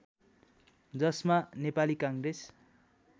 जसमा नेपाली काङ्ग्रेस